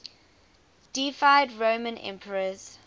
deified roman emperors